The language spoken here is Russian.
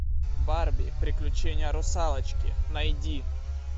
барби приключения русалочки найди